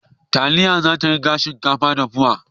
Taliya zata riga shinkafa dahuwa